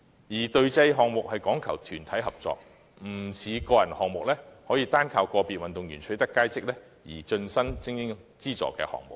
此外，隊際項目講求團體合作，不像個人項目般，可單單依賴個別運動員取得佳績而成為精英資助的項目。